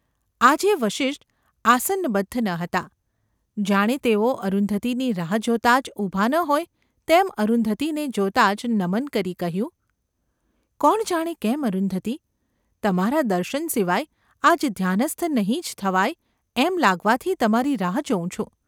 આજે વસિષ્ઠ આસનબદ્ધ ન હતા; જાણે તેઓ અરુંધતીની રાહ જોતા જ ઊભા ન હોય તેમ અરુંધતીને જોતાં જ નમન કરી કહ્યું : ‘કોણ જાણે કેમ, અરુંધતી ! તમારાં દર્શન સિવાય આજ ધ્યાનસ્થ નહિ ​ જ થવાય એમ લાગવાથી તમારી રાહ જોઉં છું.